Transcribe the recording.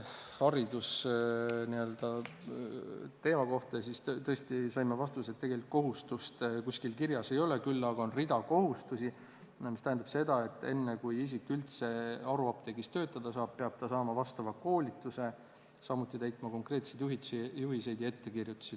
Haridusteema kohta saime vastuse, et tegelikult kohustust kuskil kirjas ei ole, küll aga on hulk kohustusi, mis tähendab seda, et enne, kui isik üldse haruapteegis töötada saab, peab ta saama vastava koolituse, samuti täitma konkreetseid juhiseid ja ettekirjutusi.